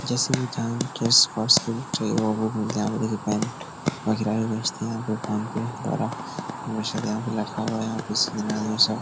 जैसे वो चाँद केस-होस जोयों ओहो हो यामिनी के पान मदिरायें बेचती हैं बे फान पे धारा मुरसद यहाँ पे लिखा हुआ है बिस्मिल्ला और ये सब ।